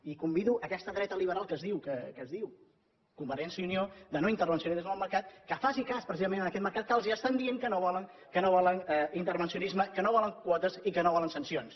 i convido aquesta dreta liberal que es diu convergència i unió de no intervencionisme en el mercat que faci cas precisament d’aquest mercat que els està dient que no vol intervencionisme que no vol quotes i que no vol sancions